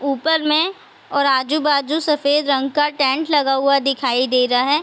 ऊपर में और आजु-बाजु सफेद रंग का टेंट लगा हुआ दिखाई दे रहा है।